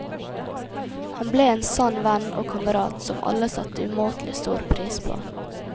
Han ble en sann venn og kamerat, som alle satte umåtelig stor pris på.